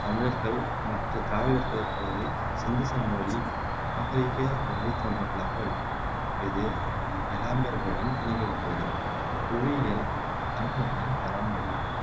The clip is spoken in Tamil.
தமிழர்கள் மற்றத் திராவிடர்களைப் போலவே சிந்து சமவெளி நாகரிக வழித்தோன்றல்களாக உள்ளனர் இது எலாமியர்களுடனும் இணைக்கப்பட்டுள்ளது புவியியல் தமிழ் மக்களின் பரம்பல்